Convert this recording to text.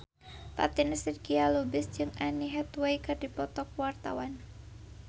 Fatin Shidqia Lubis jeung Anne Hathaway keur dipoto ku wartawan